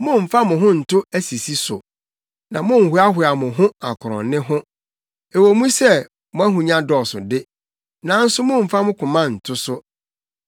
Mommfa mo ho nto asisi so na monnhoahoa mo ho akorɔnne ho; ɛwɔ mu sɛ mo ahonya dɔɔso de, nanso mommfa mo koma nto so.